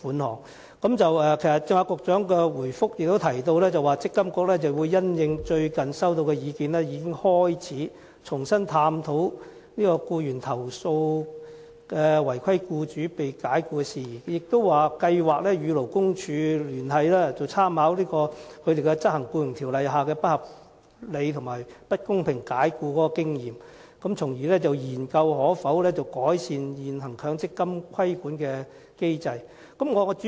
局長剛才在補充答覆也提到，積金局會因應最近接獲的意見，重新探討僱員被違規僱主解僱的投訴事宜，並計劃與勞工處合作，參考針對不合理和不公平解僱而執行《僱傭條例》的經驗，研究改善現行強積金規管機制的可行性。